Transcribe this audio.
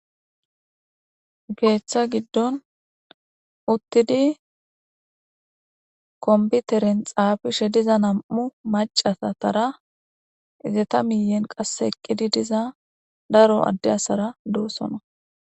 Geeththa giddon uttidi kombiteren xaafishe diza nam7u macaatara izeta miyen qasse eqqidi diza daro adde asara dossona.